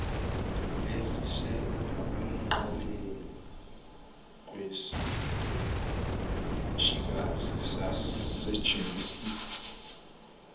elisekuqaleni kwesiteshikazi sasegermiston